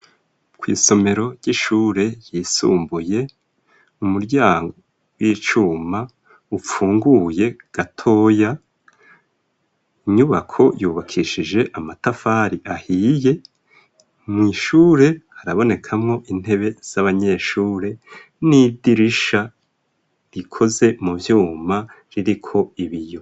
Kw'isomero ry'ishure ryisumbuye umuryango w'icuma upfunguye gatoya inyubako yubakishije amatafari ahiye mw'ishure arabonekamwo intebe z'abanyeshure n'idirisha rikoze mu vyuma ririko ibiyo.